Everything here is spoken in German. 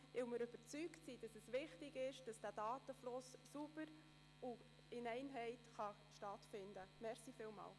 Denn wir sind davon überzeugt, dass ein sauberer und einheitlicher Datenfluss wichtig ist.